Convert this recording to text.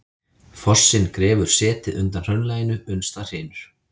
Fossinn grefur setið undan hraunlaginu uns það hrynur.